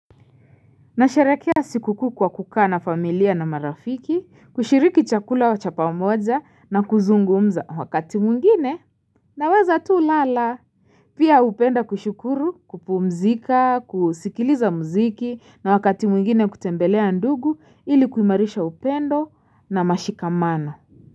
Na sherehekea sikukuu kwa kukaa na familia na marafiki, kushiriki chakula cha pamoja na kuzungumza wakati mwingine naweza tu lala. Pia hupenda kushukuru, kupumzika, kusikiliza muziki na wakati mwingine kutembelea ndugu ili kuimarisha upendo na mashikamano.